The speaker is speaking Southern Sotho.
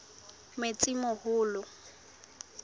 metsimaholo